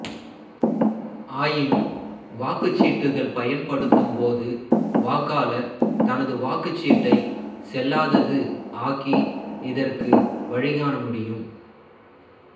ஆயினும் வாக்குச்சீட்டுக்கள் பயன்படுத்தும்போது வாக்காளர் தனது வாக்குச்சீட்டை செல்லாதது ஆக்கி இதற்கு வழிகாண முடியும்